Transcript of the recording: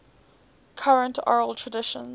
current oral traditions